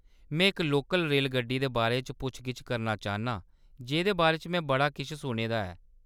में इक लोकल रेलगड्डी दे बारे च पुच्छ-गिच्छ करना चाह्‌‌‌न्नां जेह्‌दे बारे च में बड़ा किश सुने दा ऐ।